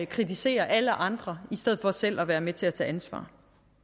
kritiserer alle andre i stedet for selv at være med til at tage ansvar